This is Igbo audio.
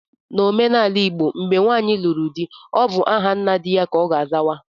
N'omenala igbo, mgbe nwanyi lụrụ di, ọ bụ aha nna di ya ka ọ ga azawa